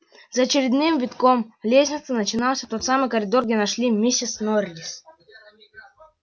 за очередным витком лестницы начинался тот самый коридор где нашли миссис норрис